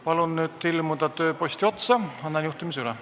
Palun nüüd tulla tööpostile, ma annan juhtimise üle.